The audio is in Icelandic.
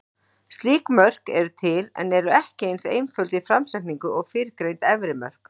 Slík mörk eru til, en eru ekki eins einföld í framsetningu og fyrrgreind efri mörk.